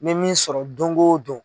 Me min sɔrɔ dongodon.